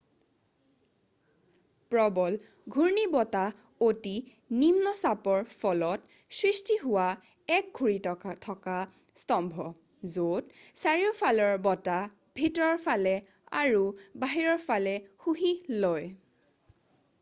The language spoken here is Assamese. প্ৰবল ঘূৰ্ণীবতাহ অতি নিম্ন চাপৰ ফলত সৃষ্টি হোৱা এক ঘূৰি থকা স্তম্ভ য'ত চাৰিওফালৰ বতাহ ভিতৰৰ ফালে আৰু বাহিৰৰ ফালে শুহি লয়